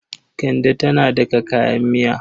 Kande tana daka kayan miya.